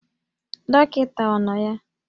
Dọkịta ọ nọ ya?